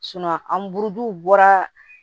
an buruw bɔra